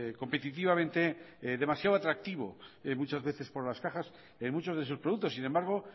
competitivamente demasiado atractivo muchas veces por las cajas en muchos de sus productos sin embargo